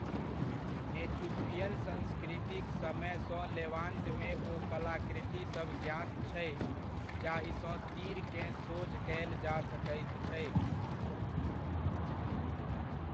नेचुफियन संस्कृतिक समयसँ लेवांतमे ओ कलाकृतिसभ ज्ञात छै जाहिसँ तीरकेँ सोझ कयल जा सकैत छै।